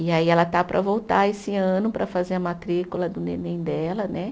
E aí ela está para voltar esse ano para fazer a matrícula do neném dela, né?